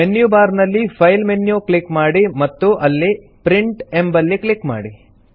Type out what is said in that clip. menu bar ನಲ್ಲಿ file menu click ಮಾಡಿ ಮತ್ತು ಅಲ್ಲಿ ಪ್ರಿಂಟ್ ಎಂಬಲ್ಲಿ ಕ್ಲಿಕ್ ಮಾಡಿ